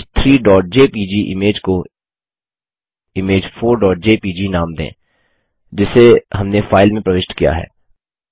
image 3जेपीजी image को image4जेपीजी नाम दें जिसे हमने फाइल में प्रविष्ट किया है